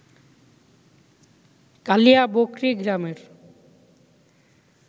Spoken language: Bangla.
কালিয়াবকরী গ্রামের